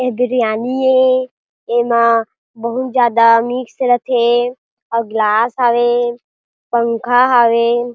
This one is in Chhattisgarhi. ए बिरयानी ए एमा बोहोत ज्यादा मिक्स रथे अउ गिलास हावे पंखा हावे --